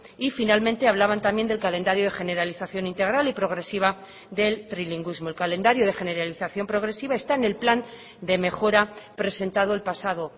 y finalmente hablaban también del calendario de generalización integral y progresiva del trilingüismo el calendario de generalización progresiva está en el plan de mejora presentado el pasado